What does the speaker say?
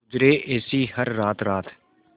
गुजरे ऐसी हर रात रात